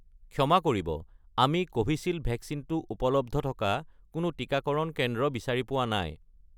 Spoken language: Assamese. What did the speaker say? ক্ষমা কৰিব, আমি কোভিচিল্ড ভেকচিনটো উপলব্ধ থকা কোনো টিকাকৰণ কেন্দ্ৰ বিচাৰি পোৱা নাই